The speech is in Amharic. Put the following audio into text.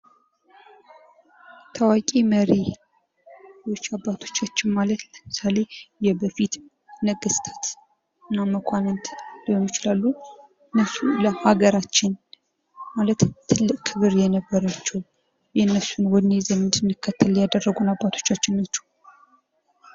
ታዋቂ መሪ ብዙ አባቶቻችን ማለት ለምሳሌ የበፊት ነገስታት እና መኳንንት ሊሆኑ ይችላሉ። የእነሱን ለአገራችን ማለት ትልቅ ክብር የነበራቸዉ የእነሱን ወኔ ይዘን እንድንከተል ያደረጉን አቄቶቻችን ናቸዉ።